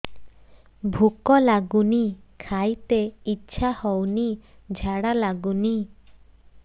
ଭୁକ ଲାଗୁନି ଖାଇତେ ଇଛା ହଉନି ଝାଡ଼ା ଲାଗୁନି